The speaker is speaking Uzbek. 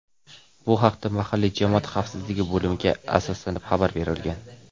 Bu haqda mahalliy jamoat xavfsizligi bo‘limiga asoslanib xabar berilgan.